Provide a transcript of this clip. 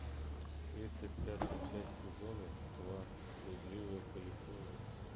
тридцать пятая часть сезона два блудливая калифорния